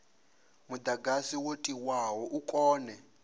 mudagasi wo tiwaho u kone